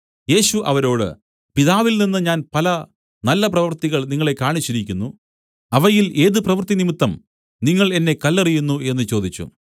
യേശു അവരോട് പിതാവിൽനിന്ന് ഞാൻ പല നല്ല പ്രവൃത്തികൾ നിങ്ങളെ കാണിച്ചിരിക്കുന്നു അവയിൽ ഏത് പ്രവൃത്തി നിമിത്തം നിങ്ങൾ എന്നെ കല്ലെറിയുന്നു എന്നു ചോദിച്ചു